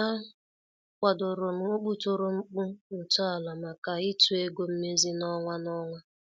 A kwadorom okputoro mkpu ntọala maka ịtụ ego mmezi n' ọnwa n' ọnwa.